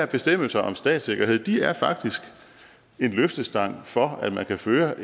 bestemmelser om statssikkerhed er faktisk en løftestang for at man kan føre